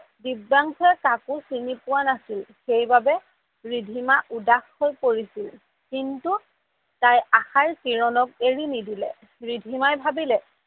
দিব্যাংসুয়ে কাকো চিনি পোৱা নাছিল সেইবাবে ৰিধিমা উদাস হৈ পৰিছিল কিন্তু তাই আশাৰ কিৰণক এৰি নিদিলে, ৰিধিমাই ভাবিলে